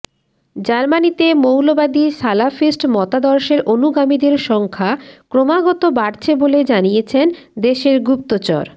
জার্মানিতে মৌলবাদী সালাফিস্ট মতাদর্শের অনুগামীদের সংখ্যা ক্রমাগত বাড়ছে বলে জানিয়েছেন দেশের গুপ্তচর